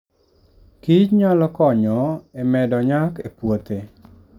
Kich nyalo konyo e medo nyak e puothe.